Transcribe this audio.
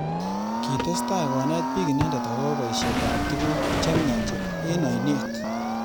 Kitestai konet bik inendet akobo boishet ab tukuk chemyach eng ainet.